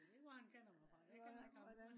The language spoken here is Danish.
jeg ved ikke hvor han kender mig fra. Jeg kender ikke ham